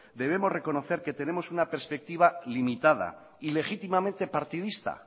debemos reconocer que tenemos una perspectiva limitada y legítimamente partidista